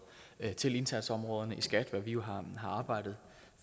til indsatsområderne i skat hvad vi jo har arbejdet